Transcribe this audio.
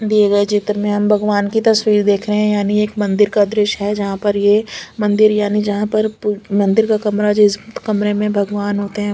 दिए गए चित्र में हम भगवान की तस्वीर देख रहे हैं यानी एक मंदिर का दृश्य है जहां पर ये मंदिर यानी जहां पर मंदिर का कमरा जिस कमरे में भगवान होते हैं।